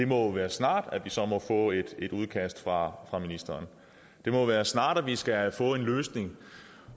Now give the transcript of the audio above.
må være snart vi så må få et udkast fra ministeren det må være snart vi skal få en løsning